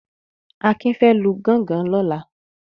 Akin fẹ́ lu gọ́ngọn lọ́la.